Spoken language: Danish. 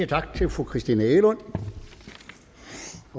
tak til fru christina egelund